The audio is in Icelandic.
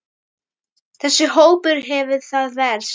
Þessi hópur hefur það verst.